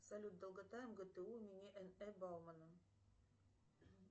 салют долгота ргту имени баумана